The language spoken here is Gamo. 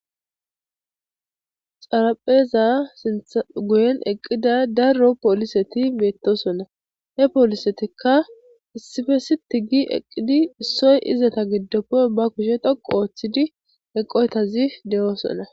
Xarapheza guyen eqida daro poliseti betosona,hw polisetika issippe sit gi eqid issoy istappe be kusheza dhoqu otid eqoytaz de'osona.